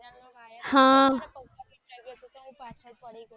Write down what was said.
એટલે તો હું પાછળ પડી ગયી હતી